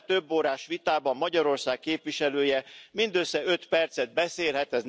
Ebben a több órás vitában Magyarország képviselője mindössze öt percet beszélhet.